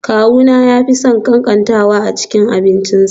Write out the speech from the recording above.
Kawuna ya fi son katantanwa a cikin abincinsa